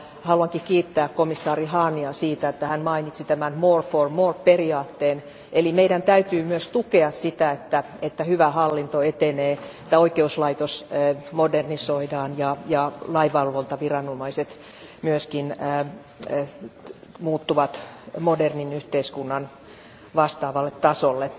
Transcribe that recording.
Haluankin kiittää komissaari Hahnia siitä, että hän mainitsi tämän more for more periaatteen, eli meidän täytyy myös tukea sitä, että hyvä hallinto etenee, että oikeuslaitos modernisoidaan ja lainvalvontaviranomaiset myöskin muuttuvat modernin yhteiskunnan vastaavalle tasolle.